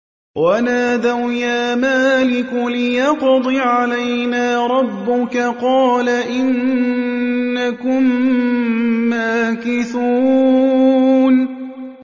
وَنَادَوْا يَا مَالِكُ لِيَقْضِ عَلَيْنَا رَبُّكَ ۖ قَالَ إِنَّكُم مَّاكِثُونَ